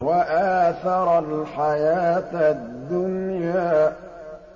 وَآثَرَ الْحَيَاةَ الدُّنْيَا